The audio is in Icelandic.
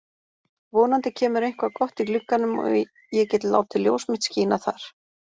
Vonandi kemur eitthvað gott í glugganum og ég get látið ljós mitt skína þar.